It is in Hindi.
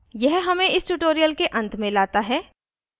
यह हमें इस tutorial के अंत में लाता है